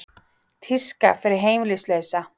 Tíska fyrir heimilislausa